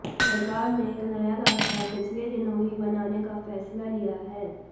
सरकार ने एक नया रास्ता पिछले दिनों ही बनाने का फैसला लिया है